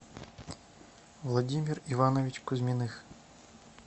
владимир иванович кузьминых